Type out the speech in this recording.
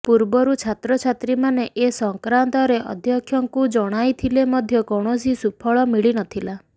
ପୂର୍ବରୁ ଛାତ୍ରଛାତ୍ରୀମାନେ ଏ ସଂକ୍ରାନ୍ତରେ ଅଧ୍ୟକ୍ଷଙ୍କୁ ଜଣାଇଥିଲେ ମଧ୍ୟ କୌଣସି ସୁଫଳ ମିଳିନଥିଲା